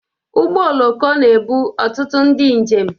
Ụgbọ oloko na-ebu ọtụtụ ndị njem.